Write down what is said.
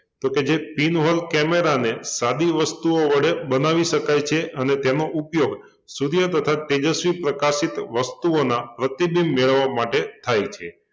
તો કે જે pin hole camera ને સાદી વસ્તુઓ વડે બનાવી શકાય છે અને તેનો ઉપયોગ સૂર્ય કરતાં તેજસ્વી પ્રકાશિત વસ્તુઓના પ્રતિબિંબ મેળવવા માટે થાય છે